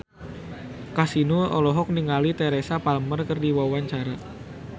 Kasino olohok ningali Teresa Palmer keur diwawancara